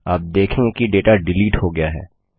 आप देखेंगे कि डेटा डिलीट हो गया है